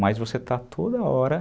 Mas você está toda hora evoluindo.